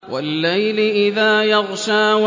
وَاللَّيْلِ إِذَا يَغْشَىٰ